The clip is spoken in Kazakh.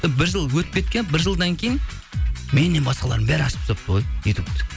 бір жыл өтіп кеткен бір жылдан кейін меннен басқалардың бәрі ашып тастапты ғой ютубты